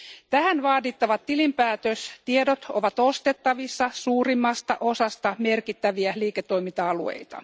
Tähän vaadittavat tilinpäätöstiedot ovat ostettavissa suurimmasta osasta merkittäviä liiketoiminta alueita.